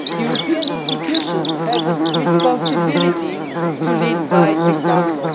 The European institutions have a responsibility to lead by example.